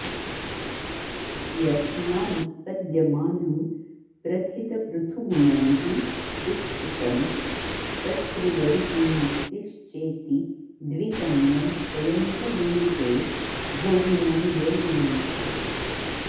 यस्मादुत्पद्यमानं प्रथितपृथुगुणैः पुष्पितं तत्त्रिवर्गी मुक्तिश्चेति द्विकन्यं स्वयमिह वृणुते भोगिनं योगिनं च